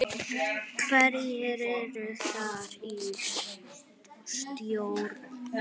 Hverjir eru þar í stjórn?